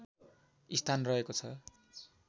स्थान रहेको छ